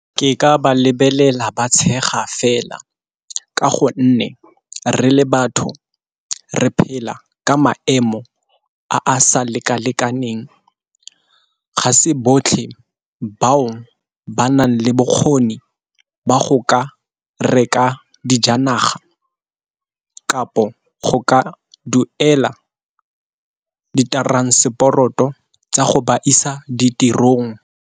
Ke ka ba lebelela ba tshega fela, ka gonne re le batho re phela ka maemo a a sa lekalekaneng. Ga se botlhe bao ba nang le bokgoni ba go ka reka dijanaga kapo go ka duela di transport-o tsa go ba isa ditirong.